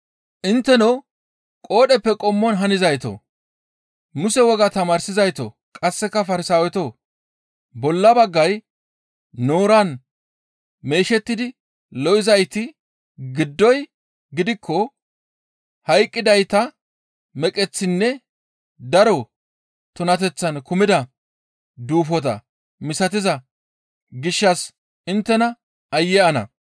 «Intteno qoodheppe qommon hanizaytoo, Muse wogaa tamaarsizaytoo, qasse Farsaawetoo! Bolla baggay nooran meeshettidi lo7izayti giddoy gidikko hayqqidayta meqeththinne daro tunateththan kumida duufota misatiza gishshas inttes aayye ana!